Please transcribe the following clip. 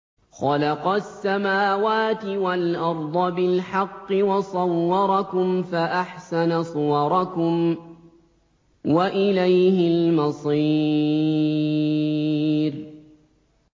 خَلَقَ السَّمَاوَاتِ وَالْأَرْضَ بِالْحَقِّ وَصَوَّرَكُمْ فَأَحْسَنَ صُوَرَكُمْ ۖ وَإِلَيْهِ الْمَصِيرُ